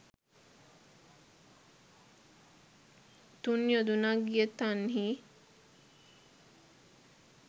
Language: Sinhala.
තුන් යොදුනක් ගිය තන්හි